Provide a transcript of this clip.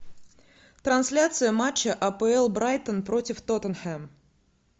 трансляция матча апл брайтон против тоттенхэм